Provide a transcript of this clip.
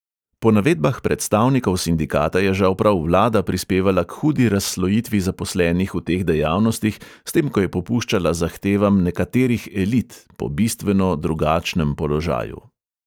Po navedbah predstavnikov sindikata je žal prav vlada prispevala k hudi razslojitvi zaposlenih v teh dejavnostih, s tem, ko je popuščala zahtevam "nekaterih elit" po bistveno drugačnem položaju.